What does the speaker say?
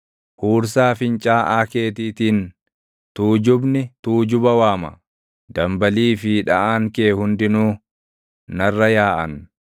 Huursaa fincaaʼaa keetiitiin, tuujubni tuujuba waama; dambalii fi dhaʼaan kee hundinuu, narra yaaʼan.